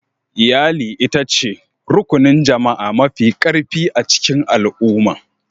Iyali ita ce Rukunin Jama'a Mafi Karfi a cikin Al'umma.